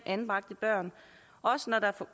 anbragte børn også når der er